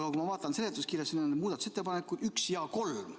Aga kui ma vaatan seletuskirja, siis siin on muudatusettepanekud 1 ja 3.